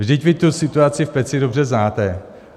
Vždyť vy tu situaci v Peci dobře znáte.